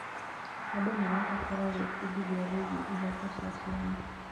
Andũ marabatara gwĩbundithia wĩgiĩ ihooto cia ciana.